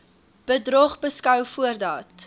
bedrog beskou voordat